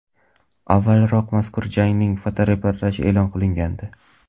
Avvalroq mazkur jangning fotoreportaji e’lon qilingandi .